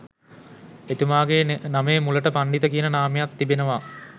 එතුමාගේ නමේ මුලට පණ්ඩිත කියන නාමයත් තිබෙනවා